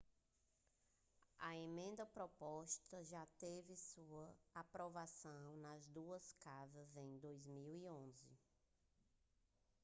a emenda proposta já teve sua aprovação nas duas casas em 2011